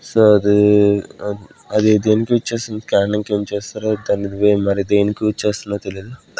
So అది అద్ అది దేనికి యూస్ చేస్తా రో దాన్ని మరి దేనికి యూస్ చేస్తారో తెలియదు.